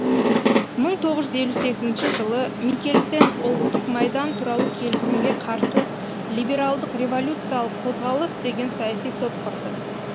мың жылы микельсен тоғыз жүз елу сегізінші ұлттық майдан туралы келісімге қарсы либералдық революциялық қозғалыс деген саяси топ құрды